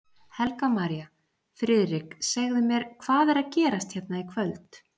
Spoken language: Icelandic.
Helga María: Friðrik, segðu mér, hvað er að gerast hérna í kvöld?